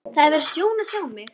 Það hefur verið sjón að sjá mig.